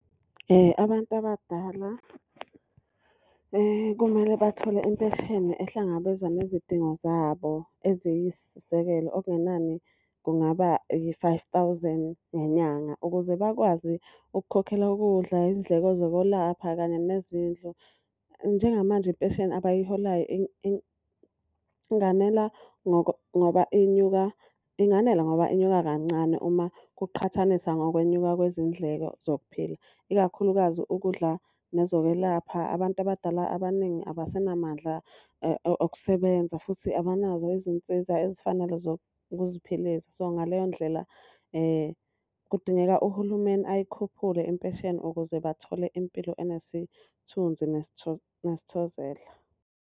Abantu abadala kumele bathole impesheni ehlangabeza nezidingo zabo eziyisisekelo okungenani kungaba yi-five thousand ngenyanga. Ukuze bakwazi ukukhokhela ukudla, iy'ndleko zokwelapha kanye nezindlu. Njengamanje impesheni abayiholayo inganela ngoba inyuka, inganela ngoba inyuka kancane uma kuqhathanisa nokwenyuka kwezindleko zokuphila. Ikakhulukazi ukudla nezokwelapha, abantu abadala abaningi abasenamandla okusebenza futhi abanazo izinsiza ezifanele zokuziphilisa. So, ngaleyo ndlela kudingeka uhulumeni ayikhuphule impesheni ukuze bathole impilo enesithunzi nesithozela.